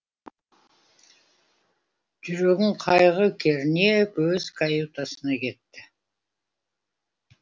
жүрегін қайғы кернеп өз каютасына кетті